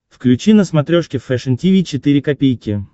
включи на смотрешке фэшн ти ви четыре ка